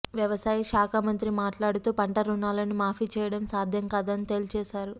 వ్యవసాయ శాఖమంత్రి మాట్లాడుతూ పంట రుణాలను మాఫీ చేయడం సాధ్యం కాదని తేల్చేశారు